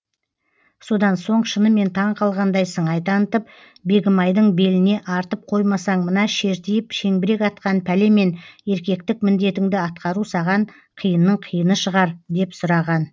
содан соң шынымен таңқалғандай сыңай танытып бегімайдың беліне артып қоймасаң мына шертиіп шеңбірек атқан пәлемен еркектік міндетіңді атқару саған қиынның қиыны шығар деп сұраған